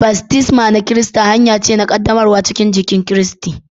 Baftisma na kirista hanya ce na qaddamarwa cikin jikin Kiristi.